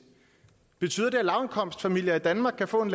betyder det at lavindkomstfamilier i danmark kan få en